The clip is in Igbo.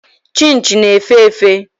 Chịnchị na-efe efe.